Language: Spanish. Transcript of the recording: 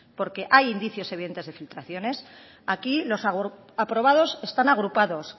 porque hay indicios evidentes de filtraciones aquí los aprobados están agrupados